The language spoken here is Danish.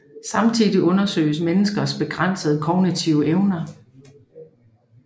Samtidig undersøges menneskers begrænsede kognitive evner